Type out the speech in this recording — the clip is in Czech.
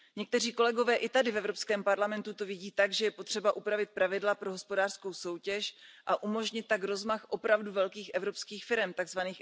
Někteří kolegové i tady v EP to vidí tak, že je potřeba upravit pravidla pro hospodářskou soutěž a umožnit tak rozmach opravdu velkých evropských firem, tzv.